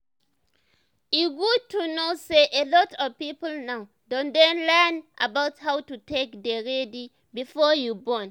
e good to know say a lot of people now don dey learn about how to take dey ready before you born